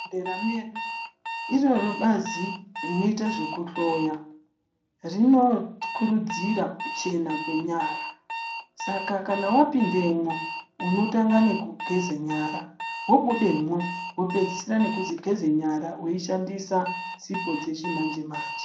Mundaramo yedu iroro bazi rinoita zvekuhloya rinokurudzira kuchena kwenyara saka kana wapindemwo unotanga nekugeza nyara wabudemwo wopedzisira nekugeza nyara weishandisa sipo dzechimanje manje.